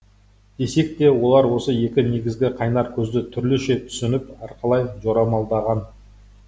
десек те олар осы екі негізгі қайнар көзді түрліше түсініп әрқалай жорамалдаған